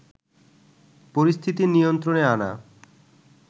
পরিস্থিতি নিয়ন্ত্রণে আনা